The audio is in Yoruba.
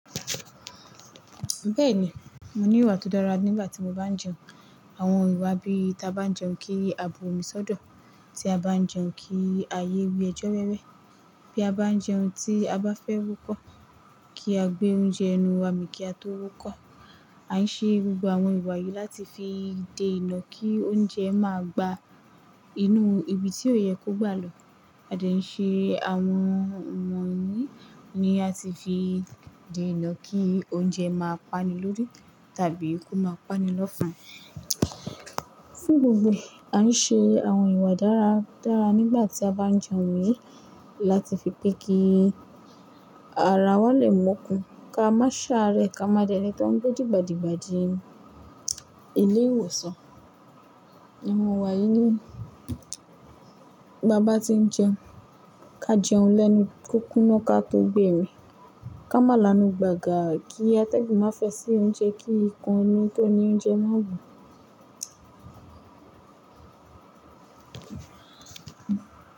Bẹ́ẹ̀ni, mo ní ìwà tó dára nígbà tí mo bá ń jẹun. Àwọn ìwà bí ta bá ń jẹun kí a bo omi sọ́dọ̀, tí a bá ń jẹun kí a yé wi ẹjọ́ wẹ́wẹ́, bí a bá ń jẹun tí a bá fẹ́ wúkọ̀ kí a gbé oúnjẹ ẹnú wa mi kí a tó wúkọ̀. A ń ṣe gbogbo àwọn ìwà yìí láti fi de ìná kí oúnjẹ máa gba inú ibi tí ó yẹ kó gbà lọ. A dẹ ń ṣe àwọn ọ̀nà yìí ni a ti fi de ìná kí oúnjẹ máa pani lórí tàbí kó máa pani lọ́ fun. Fun gbogbo ẹ, a ń ṣe àwọn ìwà dára dára nígbà tí a bá ń jẹun wí láti fi pẹ́ kí ara wa lè mokun, ká má ṣaárẹ, ká má dẹ́ ni tó ń gbé dìgbàdìgbà di ilé ìwòsàn. Ìwà yìí ni bá bá tí ń jẹun, ká jẹun lẹ́nu kókúná ka tó gbè mi, ká má lanú gbàgà kí a tẹ́gùn má fẹ́ sí oúnjẹ kí ikán inú tó ní oúnjẹ má wù.